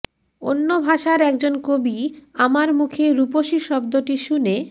অন্য ভাষার একজন কবি আমার মুখে রূপসী শব্দটি শুনে